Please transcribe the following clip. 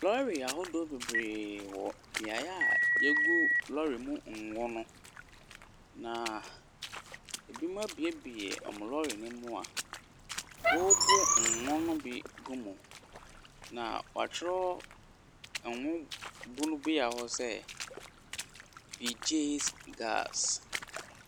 Lɔre aho beberee wɔ beaeɛ a yegu lɔre mu ngo no. Na ebi mo abuebue ɔmo lɔre no mu a wobu ngo no bi gu mu. Na watwerɛ ngo bu bea hɔ sɛ bigyes gaase .